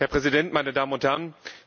Herr Präsident, meine Damen und Herren!